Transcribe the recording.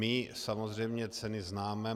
My samozřejmě ceny známe.